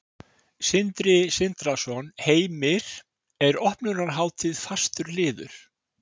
Sindri Sindrason: Heimir, er opnunarhátíð fastur liður?